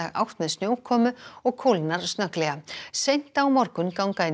átt með snjókomu og kólnar snögglega seint á morgun ganga inn